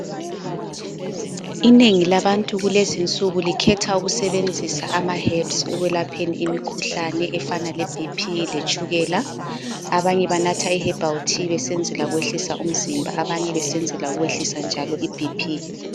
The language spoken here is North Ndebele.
Inengi labantu kulezinsuku likhetha ukusebenzisa ama "herbs" ekwelapheni imikhuhlane efana le BP letshukela. Abanye banatha i"Herbal Tea" besenzela ukwehlisa umzimba abanye besenzela ukwehlisa iBP.